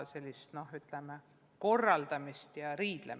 Pigem oleme korraldanud ja riielnud.